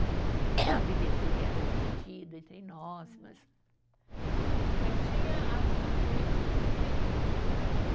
Aí bilheteria era dividido entre nós, mas. Mas tinha as as noites Philips, que você falou lá